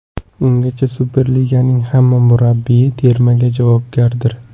Ungacha Superliganing hamma murabbiyi termaga javobgardir.